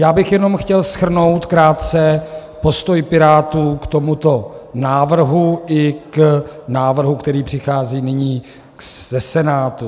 Já bych jenom chtěl shrnout krátce postoj Pirátů k tomuto návrhu i k návrhu, který přichází nyní ze Senátu.